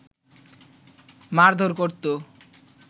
মারধর করতো